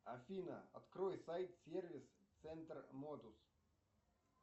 афина открой сайт сервис центр модус